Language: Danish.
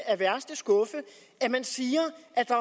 af værste skuffe at man siger at